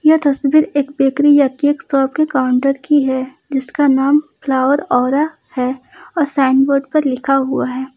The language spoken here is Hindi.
यह तस्वीर एक बेकरी या केक शॉप के काउंटर की है जिसका नाम फ्लावरऔरा है और साइन बोर्ड पर लिखा हुआ है।